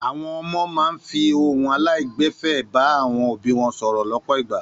Àwọn ọmọ máa ń fi ìhun aláìgbẹ̀fẹ̀ bá àwọn òbí wọn sọ̀rọ̀ lọ́pọ̀ ìgbà.